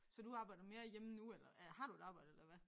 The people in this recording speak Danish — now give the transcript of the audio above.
Så du arbejder mere hjemme nu eller øh har du et arbejde eller hvad?